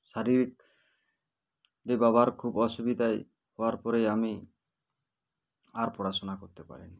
শারীরিক দে বাবার খুব অসুবিধায় হওয়ার পরে আমি আর পড়াশোনা করতে পারিনি